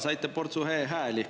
Saite portsu e-hääli.